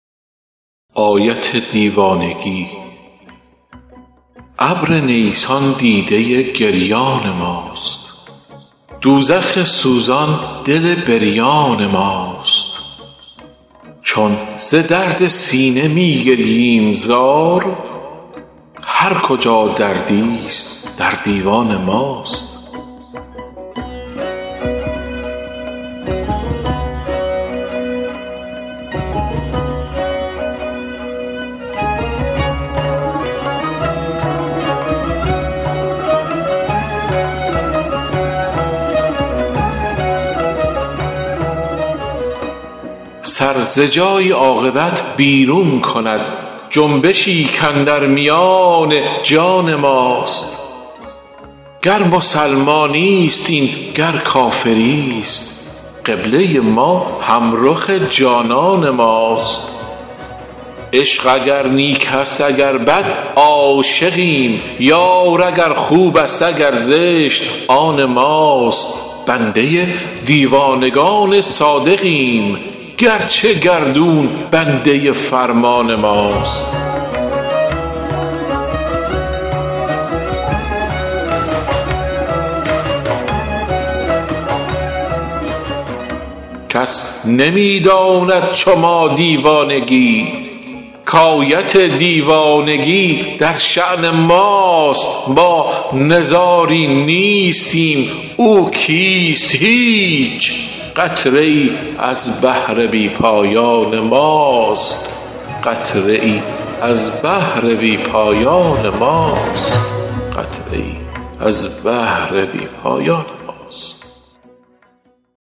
ابر نیسان دیده ی گریان ماست دوزخ سوزان دل بریان ماست چون ز درد سینه میگرییم زار هرکجا دردی ست در دیوان ماست سر ز جایی عاقبت بیرون کند جنبشی کاندر میان جان ماست گر مسلمانی ست این گر کافری ست قبله ما هم رخ جانان ماست عشق اگر نیک است اگر بد عاشقیم یار اگر خوب است اگر زشت آن ماست بنده دیوانگان صادقیم گرچه گردون بنده فرمان ماست کس نمی داند چو ما دیوانگی کآیت دیوانگی در شأن ماست ما نزاری نیستیم او کیست هیچ قطره ای از بحر بی پایان ماست